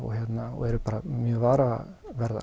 og og eru mjög varaverðar